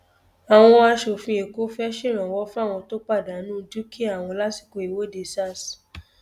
àwọn aṣòfin èkó fẹẹ ṣèrànwọ fáwọn tó pàdánù dúkìá wọn lásìkò ìwọde sars